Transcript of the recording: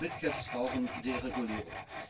auch Mid Caps brauchen Deregulierung.